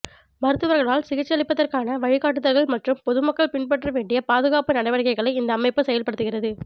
மருத்துவர்களால் சிகிச்சையளிப்பதற்கான வழிகாட்டுதல்கள் மற்றும் பொதுமக்கள் பின்பற்ற வேண்டிய பாதுகாப்பு நடவடிக்கைகளை இந்த அமைப்பு செயல்படுத்துகிறது